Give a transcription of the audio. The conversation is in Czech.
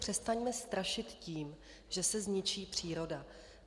Přestaňme strašit tím, že se zničí příroda.